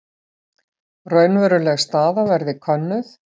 Raunveruleg staða verði könnuð